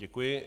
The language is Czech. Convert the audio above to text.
Děkuji.